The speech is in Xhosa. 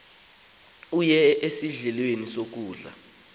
owaye sendlwini kuphela